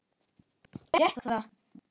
Gekk það?